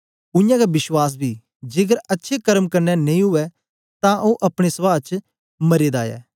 उयांगै विश्वास बी जेकर अच्छे कर्म कन्ने नेई उवै तां ओ अपने सभह बेच मरे दा ऐ